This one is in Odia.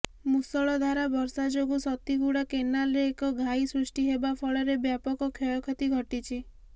ମୂଷଳ ଧାରା ବର୍ଷା ଯୋଗୁ ସତୀଗୁଡ଼ା କେନାଲ୍ରେ ଏକ ଘାଇ ସୃଷ୍ଟି ହେବା ଫଳରେ ବ୍ୟାପକ କ୍ଷୟକ୍ଷତି ଘଟିଛି